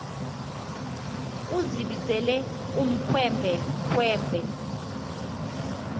uzibizele ukhwembe khwembe